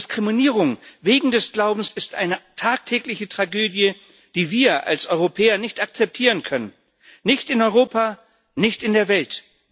Diskriminierung wegen des Glaubens ist eine tagtägliche Tragödie, die wir als Europäer nicht akzeptieren können nicht in Europa, nicht in der Welt.